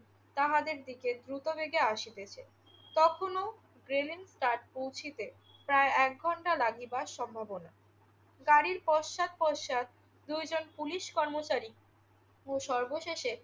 তাহাদের দিকে দ্রুতবেগে আসিতেছে। তখনও ব্ল্যান তাহার কুঠিতে, প্রায় এক ঘণ্টা লাগিবার সম্ভবনা। গাড়ির পশ্চাৎ পশ্চাৎ দুইজন পুলিশ কর্মচারী ও সর্বশেষে